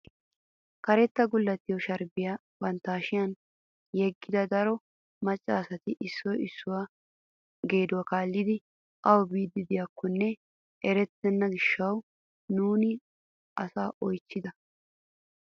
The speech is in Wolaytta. Karetta gulettiyoo sharbbiyaa bantta hashshiyaan yeggida daro macca asati issoy issuwaa geduwaa kaallidi awu biidi de'iyaakonne erettena giishshawu nuuni asaa oychchida.